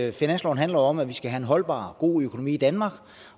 at finansloven handler om at vi skal have en holdbar og god økonomi i danmark